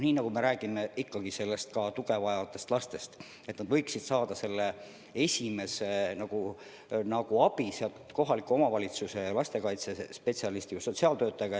Praegu me räägime põhiliselt ikkagi tuge vajavatest lastest, kes võiksid esmase abi saada kohaliku omavalitsuse lastekaitsespetsialistilt või sotsiaaltöötajalt.